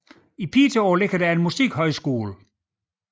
I Piteå ligger der en musikhøjskole